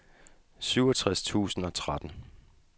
syvogtres tusind og tretten